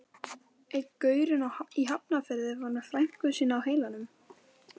Einn gaurinn í Hafnarfirði var með frænku sína á heilanum.